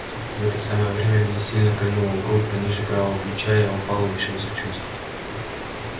в это самое время меня сильно кольнуло в грудь пониже правого плеча я упал и лишился чувств